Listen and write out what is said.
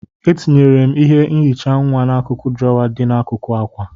Etinyere m ihe nhicha nwa n'akụkụ drawer dị n'akụkụ akwa.